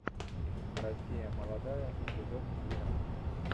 россия молодая эпизод двенадцать